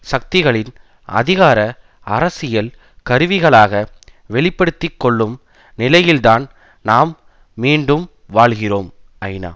சக்திகளின் அதிகார அரசியல் கருவிகளாக வெளி படுத்தி கொள்ளும் நிலையில்தான் நாம் மீண்டும் வாழ்கிறோம் ஐநா